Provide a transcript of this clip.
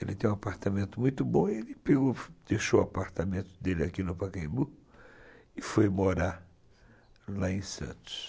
Ele tem um apartamento muito bom e ele deixou o apartamento dele aqui no Pacaembu e foi morar lá em Santos.